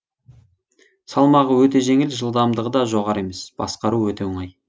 салмағы өте жеңіл жылдамдығы да жоғары емес басқару өте оңай